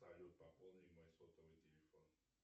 салют пополни мой сотовый телефон